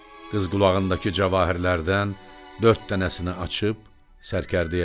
Qız qulağındakı cavahirlərdən dörd dənəsini açıb sərkərdəyə verdi.